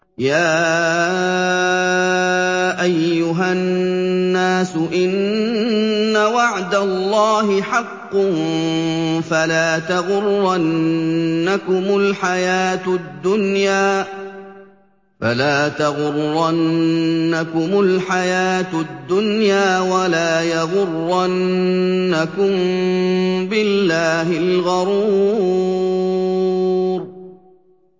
يَا أَيُّهَا النَّاسُ إِنَّ وَعْدَ اللَّهِ حَقٌّ ۖ فَلَا تَغُرَّنَّكُمُ الْحَيَاةُ الدُّنْيَا ۖ وَلَا يَغُرَّنَّكُم بِاللَّهِ الْغَرُورُ